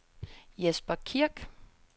Jesper Kirk